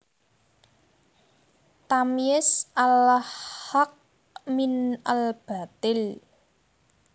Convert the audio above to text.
Tamyiz al Haqq min al Bathil